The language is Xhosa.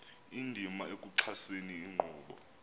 indima ekuxhaseni inkqubo